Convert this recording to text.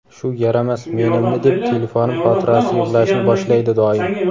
shu yaramas "men" imni deb telefonim xotirasi yig‘lashni boshlaydi doim.